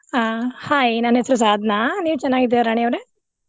ಹಾ hai ನನ್ನ್ ಹೆಸ್ರು ಸಾದ್ನಾ, ನೀವ್ ಚೆನ್ನಾಗಿದ್ದೀರಾ ರಾಣಿ ಅವ್ರೆ?